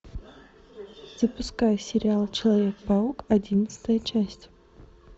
запускай сериал человек паук одиннадцатая часть